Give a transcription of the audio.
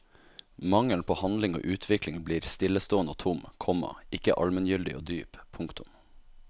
Mangelen på handling og utvikling blir stillestående og tom, komma ikke almengyldig og dyp. punktum